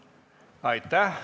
Aitäh!